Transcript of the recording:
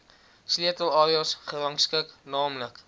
sleutelareas gerangskik naamlik